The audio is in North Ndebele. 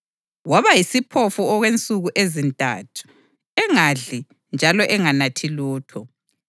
Waba yisiphofu okwensuku ezintathu, engadli njalo enganathi lutho.